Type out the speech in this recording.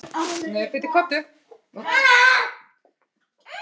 Slepptu mér, ógeðið þitt!